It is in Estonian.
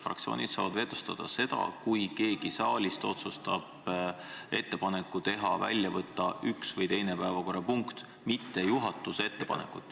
Fraktsioonid saavad vetostada seda, kui keegi saalist otsustab teha ettepaneku võtta välja üks või teine päevakorrapunkt, mitte juhatuse ettepanekut.